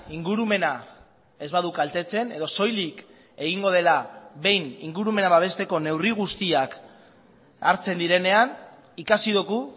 ingurumena ez badu kaltetzen edo soilik egingo dela behin ingurumena babesteko neurri guztiak hartzen direnean ikasi dugu